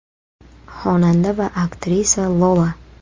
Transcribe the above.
Xonanda va aktrisa Lola.